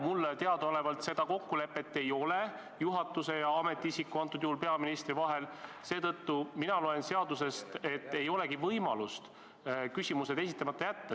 " Mulle teadaolevalt seda kokkulepet juhatuse ja ametiisiku, antud juhul peaministri vahel ei ole, seetõttu loen mina seadusest välja, et ei olegi võimalust küsimused esitamata jätta.